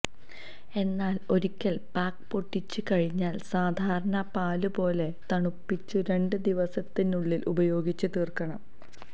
എന്നാല് ഒരിക്കല് പാക്ക് പൊട്ടിച്ചു കഴിഞ്ഞാല് സാധാരണ പാല് പോലെ തണുപ്പിച്ചു രണ്ട് ദിവസത്തിനുള്ളില് ഉപയോഗിച്ച് തീര്ക്കണം